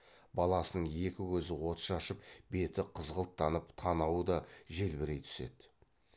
баласының екі көзі от шашып беті қызғылттанып танауы да желбірей түседі